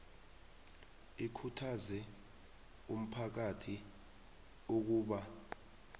ikhuthaze umphakathi ukuba